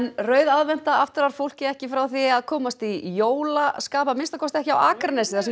rauð aðventa aftrar fólki ekki frá frá því að komast í jólaskap að minnsta kosti ekki á Akranesi þar sem